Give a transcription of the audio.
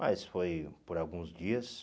Mas foi por alguns dias.